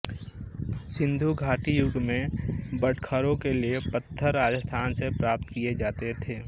सिंधु घाटी युग में बटखरों के लिये पत्थर राजस्थान से प्राप्त किए जाते थे